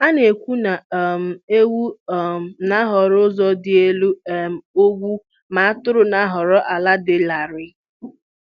Ha na-ekwu na um ewu um na-ahọrọ ụzọ dị n'elu um ugwu ma atụrụ na-ahọrọ ala dị larịị.